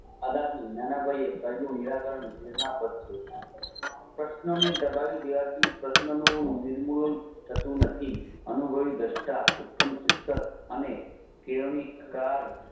અદાથી નાનાભાઈ એ કહેલું નિયાકરણ પ્રેરણા પાથ છે પ્રશ્નને દબાવી દેવાથી પ્રશ્નનું નિર્મલ થતું નથી અનુભવી દાસ્તાં ઉત્પન્ન અને